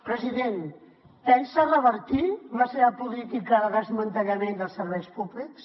president pensa revertir la seva política de desmantellament dels serveis públics